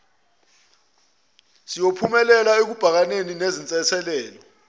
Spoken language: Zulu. siyophumelela ekubhekaneni nezinselelo